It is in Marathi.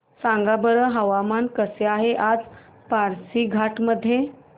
सांगा बरं हवामान कसे आहे आज पासीघाट मध्ये